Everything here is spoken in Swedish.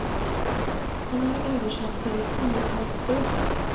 Han är översatt till ett tiotal språk.